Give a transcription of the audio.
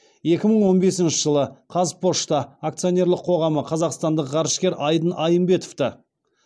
екі мың он бесінші жылы қазпошта акционерлік қоғамы қазақстандық ғарышкер айдын айымбетовты